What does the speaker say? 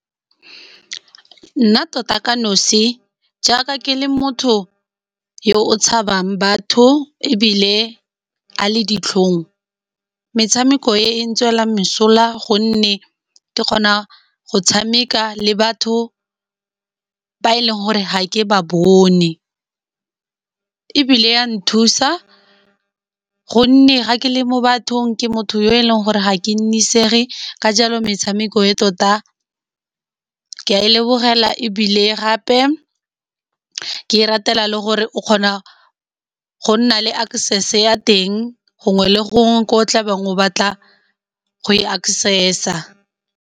Nna tota ka nosi jaaka ke le motho yo o tshabang batho, ebile a le ditlhong. Metshameko e e tswelang mesola gonne ke kgona go tshameka le batho ba e leng gore ga ke ba bone, ebile ya nthusa gonne ga ke le mo bathong ke motho yo e leng gore ga ke nnisege, ka jalo metshameko e tota ke a e lebogela. Ebile gape ke e ratela le gore o kgona go nna le access ya teng gongwe le gongwe ko o tlabeng o batla go e access-a.